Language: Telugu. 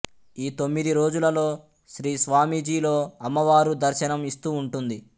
ఈ తొమ్మిది రోజులలో శ్రీస్వామీజీలో అమ్మవారు దర్శనం ఇస్తూ ఉంటుంది